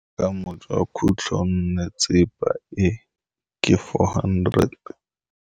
Boatlhamô jwa khutlonnetsepa e, ke 400.